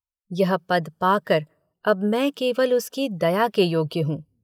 यह पद पाकर अब मैं केवल उसकी दया के योग्य हूँ।